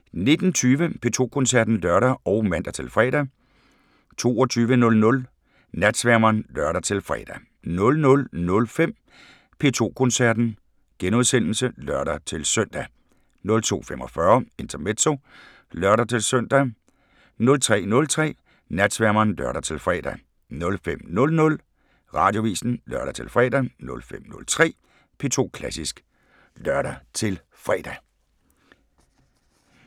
19:20: P2 Koncerten (lør og man-fre) 22:00: Natsværmeren (lør-fre) 00:05: P2 Koncerten *(lør-søn) 02:45: Intermezzo (lør-søn) 03:03: Natsværmeren (lør-fre) 05:00: Radioavisen (lør-fre) 05:03: P2 Klassisk (lør-fre)